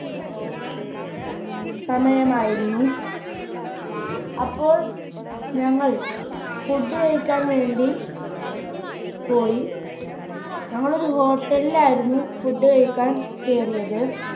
സമയമായിരുന്നു. അപ്പോൾ ഞങ്ങൾ Food കഴിക്കാൻ വേണ്ടി പോയി. ഞങ്ങളൊരു Hotel ൽ ആയിരുന്നു Food കഴിക്കാൻ കേറിയത്.